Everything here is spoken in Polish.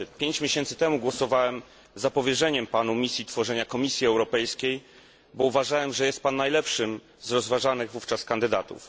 Pięć miesięcy temu głosowałem za powierzeniem panu misji stworzenia Komisji Europejskiej, bo uważałem, że jest pan najlepszym z rozważanych wówczas kandydatów.